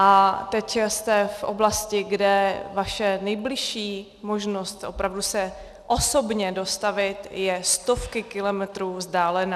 A teď jste v oblasti, kde vaše nejbližší možnost opravdu se osobně dostavit je stovky kilometrů vzdálená.